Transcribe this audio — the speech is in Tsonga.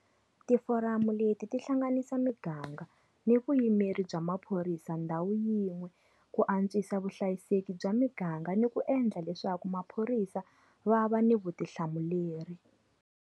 Tiforamu leti ti hlanganisa miganga ni vuyimeri bya maphorisa ndhawu yin'we ku antswisa vuhlayiseki bya miganga ni ku endla leswaku maphorisa va va ni vutihlamuleri.